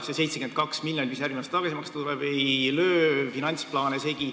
See 72 miljonit, mis järgmisel aastal tuleb tagasi maksta, ei löö finantsplaane segi.